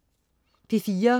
P4: